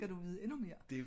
skal du vide endnu mere?